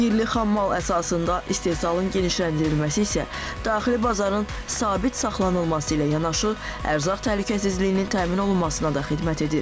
Yerli xammal əsasında istehsalın genişləndirilməsi isə daxili bazarın sabit saxlanılması ilə yanaşı, ərzaq təhlükəsizliyinin təmin olunmasına da xidmət edir.